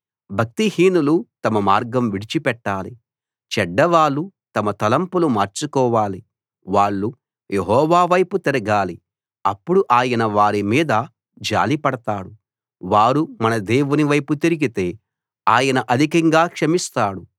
భక్తిహీనులు తమ మార్గం విడిచిపెట్టాలి చెడ్డవాళ్ళు తమ తలంపులు మార్చుకోవాలి వాళ్ళు యెహోవా వైపు తిరగాలి అప్పుడు ఆయన వారి మీద జాలిపడతాడు వారు మన దేవుని వైపు తిరిగితే ఆయన అధికంగా క్షమిస్తాడు